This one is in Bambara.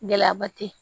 Gɛlɛyaba te yen